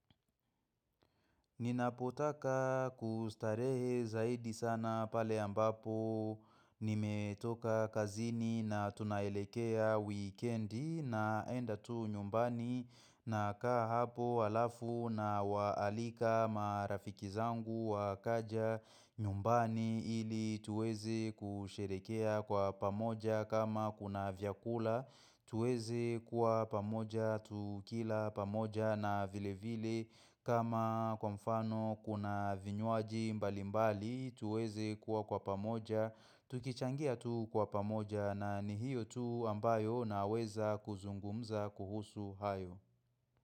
Ninapotaka kustarehe zaidi sana pale ambapo nimetoka kazini na tunaelekea weekendi naenda tu nyumbani na kaa hapo alafu na waalika marafiki zangu wakaja nyumbani ili tuweze kusherekea kwa pamoja kama kuna vyakula. Tuweze kuwa pamoja, tukila pamoja na vile vile kama kwa mfano kuna vinyuaji mbali mbali tuweze kuwa kwa pamoja, tukichangia tu kwa pamoja na ni hiyo tu ambayo na weza kuzungumza kuhusu hayo.